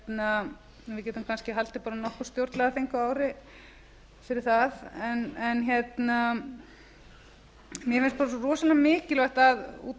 við getum kannski haldið bara nokkur stjórnlagaþing á ári fyrir það mér finnst það svo rosalega mikilvægt út af því